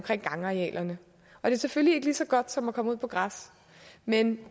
i gangarealerne det er selvfølgelig ikke lige så godt som at komme ud på græs men